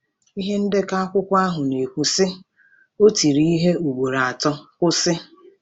Ihe ndekọ akwụkwọ ahụ na-ekwu, sị: O tiri ihe ugboro atọ, kwụsị.